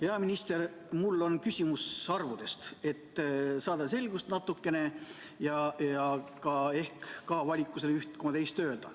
Hea minister, mul on küsimus arvude kohta, et saada natukene selgust ja ehk ka avalikkusele üht koma teist öelda.